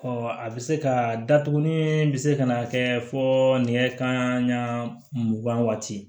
a bɛ se ka datugu ni bɛ se ka na kɛ fɔ nɛgɛ kanɲɛ mugan waati